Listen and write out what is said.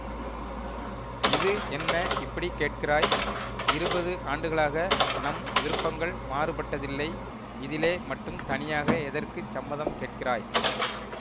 இது என்ன இப்படி கேட்கிறாய் இருபது ஆண்டுகளாக நம் விருப்பங்கள் மாறுபட்டதில்லை இதிலே மட்டும் தனியாக எதற்குச் சம்மதம் கேட்கிறாய்